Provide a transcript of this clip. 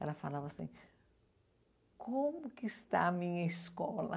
Ela falava assim, como que está a minha escola?